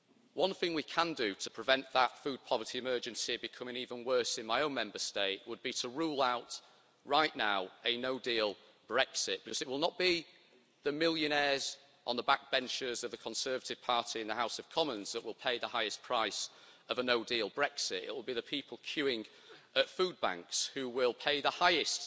One thing we can do to prevent that food poverty emergency becoming even worse in my own Member State would be to rule out right now a no deal Brexit because it will not be the millionaires on the back benches of the Conservative Party in the House of Commons that will pay the highest price of a no deal Brexit, it will be the people queuing at food banks who will pay the highest